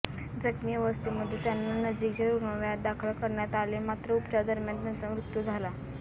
जखमी अवस्थेमध्ये त्यांना नजिकच्या रूग्णालयात दाखल करण्यात आले मात्र उपचारादरम्यान त्यांचा मृत्यू झाला